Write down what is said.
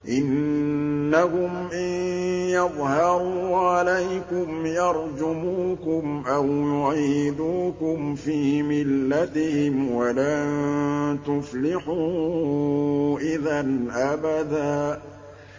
إِنَّهُمْ إِن يَظْهَرُوا عَلَيْكُمْ يَرْجُمُوكُمْ أَوْ يُعِيدُوكُمْ فِي مِلَّتِهِمْ وَلَن تُفْلِحُوا إِذًا أَبَدًا